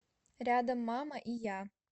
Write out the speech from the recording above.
рядом мама и я